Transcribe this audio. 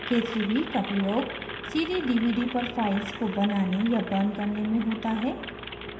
k3b का प्रयोग cd/dvd पर files को बनाने या burn करने में होता है